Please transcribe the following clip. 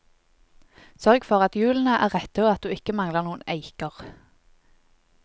Sørg for at hjulene er rette og at du ikke mangler noen eiker.